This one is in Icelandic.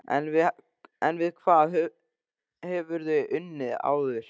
En við hvað hefurðu unnið áður?